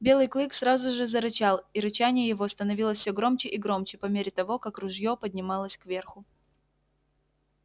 белый клык сразу же зарычал и рычание его становилось все громче и громче по мере того как ружье поднималось кверху